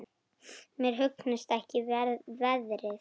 Mér hugnast ekki veðrið.